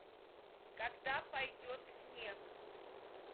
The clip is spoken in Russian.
когда пойдет снег